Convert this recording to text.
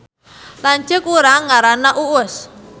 Lanceuk urang ngaranna Uus